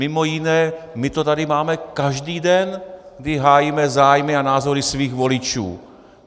Mimo jiné my to tady máme každý den, kdy hájíme zájmy a názory svých voličů.